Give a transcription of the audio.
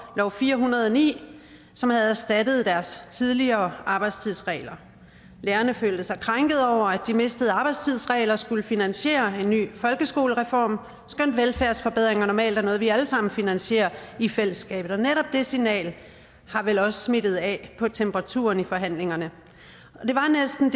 lov fire hundrede og ni som havde erstattet deres tidligere arbejdstidsregler lærerne følte sig krænkede over at de mistede arbejdstidsregler skulle finansiere en ny folkeskolereform skønt velfærdsforbedringer normalt er noget vi alle sammen finansierer i fællesskabet netop det signal har vel også smittet af på temperaturen i forhandlingerne det var næsten